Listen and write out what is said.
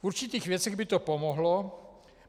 V určitých věcech by to pomohlo.